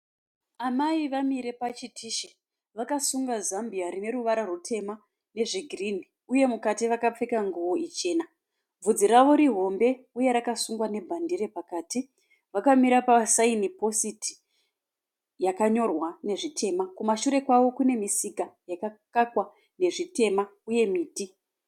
Amai vamire pachitishi vakasunga zambia rine ruvara rutema nezvegirini . Uye mukati vakapfeka nguvo ichena . Bvudzi ravo rihombe uye rakasungwa nebhandire pakati . Vakamira pasign post yakanyorwa nezvitema. Kumashure kwavo kune misika yakakakwa nezvitema uye miti.